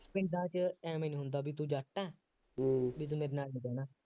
ਪਿੰਡਾਂ ਚ ਐਵੇਂ ਨਹੀਂ ਹੁੰਦਾ ਬਈ ਤੂੰ ਜੱਟ ਹੈਂ, ਬਈ ਤੂੰ ਮੇਰੇ ਨਾਲ ਕਿਉਂ ਬਹਿੰਦਾ